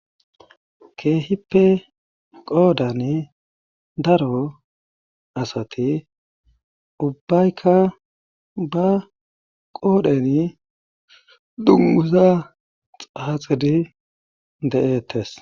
Keehippe qoodani daro asati ubbayka ba qoodheni dungguza xaaxidi de7eettees.